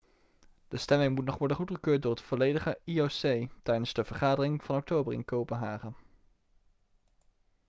de stemming moet nog worden goedgekeurd door het volledige ioc tijdens de vergadering van oktober in kopenhagen